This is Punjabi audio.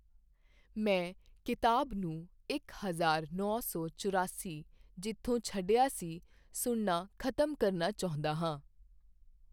ਮੈਂ ਕਿਤਾਬ ਨੂੰ ਇੱਕ ਹਜ਼ਾਰ ਨੌਂ ਸੌ ਚੁਰਾਸੀ ਜਿੱਥੋਂ ਛੱਡਿਆ ਸੀ, ਸੁਣਨਾ ਖ਼ਤਮ ਕਰਨਾ ਚਾਹੁੰਦਾ ਹਾਂ